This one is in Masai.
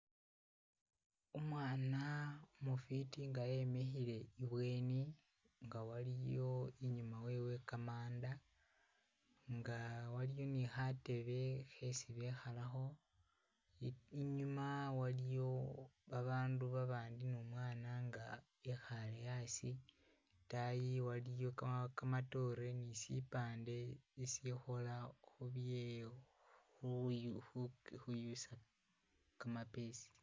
Umwana umufiiti nga e-mikhile ibweni nga waliyo inyuma wewe kamanda nga waliyo ni khatebe khesi bekhalakho ni-inyuma waliyo abandu babandi ne umwana nga e-khaye asi itayi waliyo kama-kamatore nisipande isikhola khubye khu-khuyusa kamapesa